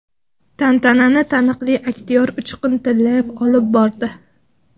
Tantanani taniqli aktyor Uchqun Tillayev olib bordi.